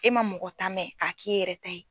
E man mɔgɔ ta mɛn k'a k'i yɛrɛ ta ye.